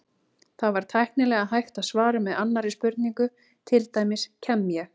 Það væri tæknilega hægt að svara með annarri spurningu, til dæmis: Kem ég?